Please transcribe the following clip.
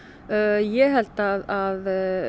ég held að